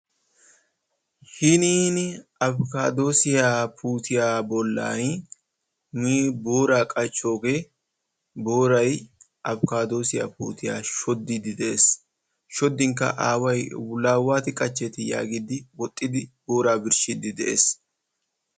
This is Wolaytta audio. Hiniin afikaadoosiyaa puutiyaa bollaan booraa qachchoogee booray afikadoosiyaa puutiyaa shooddiidi de'ees. shooddin qa away la waati qaacheeti yaagidi woxxidi booraa birshiidi de'ees.